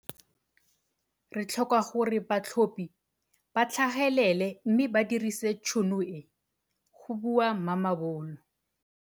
Re tlhoka gore batlhophi ba tlhagelele mme ba dirise tšhono e go bua Mamabolo.